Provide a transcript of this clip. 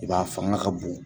fanga ka bon